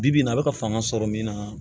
Bi bi in na a bɛ ka fanga sɔrɔ min na